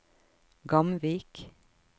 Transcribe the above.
Gamvik